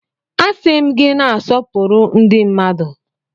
Asị m gị na-asọpụrụ ndi mmadu!